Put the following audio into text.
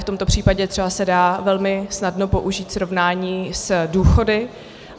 V tomto případě třeba se dá velmi snadno použít srovnání s důchody.